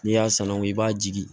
N'i y'a sanango i b'a jigin